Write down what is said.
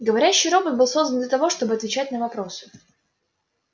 говорящий робот был создан для того чтобы отвечать на вопросы